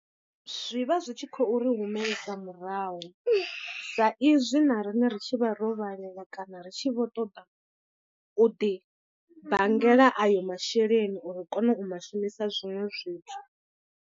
Zwi vha zwi tshi khou ri humela murahu, sa izwi na riṋe ri tshi vha ro vhalela kana ri tshi vho ṱoḓa u ḓi banngela ayo masheleni uri ri kone u ma shumisa zwiṅwe zwithu.